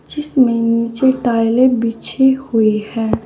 जिसमें नीचे टाइलें बिछी हुई हैं।